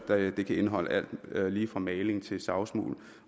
at det kan indeholde alt lige fra maling til savsmuld